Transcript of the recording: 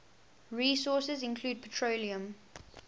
resources include petroleum